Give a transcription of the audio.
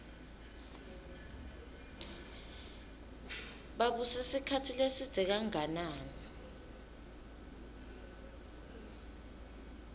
babuse sikhatsi lesidze kanganani